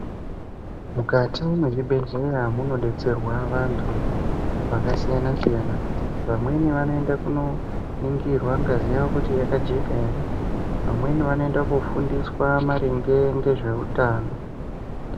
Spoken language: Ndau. Mukati mwezvibhedhlera munodetserwa vanthu vakasiyana siyana vamweni vanoenda kooningirwa ngazi yavo kuti yakajeka ere vamweni vanoenda koofundiswa maringe ngezveutano.